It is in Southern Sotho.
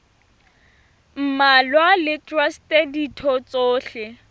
mmalwa le traste ditho tsohle